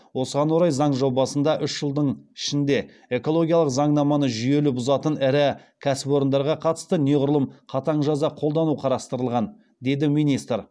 осыған орай заң жобасында үш жылдың ішінде экологиялық заңнаманы жүйелі бұзатын ірі кәсіпорындарға қатысты неғұрлым қатаң жаза қолдану қарастырылған деді министр